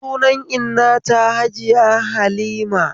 Sunan inna ta Hajiya Halima